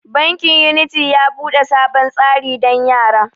Bankin unity ya bude sabon tsari dan yara.